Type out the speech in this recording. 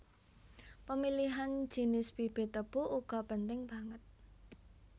Pemilihan jinis bibit tebu uga penting banget